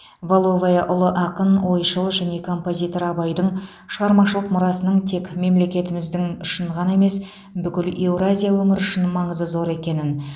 валовая ұлы ақын ойшыл және композитор абайдың шығармашылық мұрасының тек мемлекетіміздің үшін ғана емес бүкіл еуразия өңірі үшін маңызы зор екенін